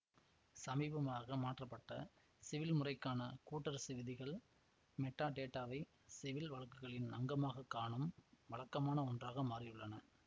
சமீபமாக மாற்றப்பட்ட சிவில் முறைக்கான கூட்டரசு விதிகள் மெட்டாடேட்டாவை சிவில் வழக்குகளின் அங்கமாகக் காணும் வழக்கமான ஒன்றாக மாறியுள்ளன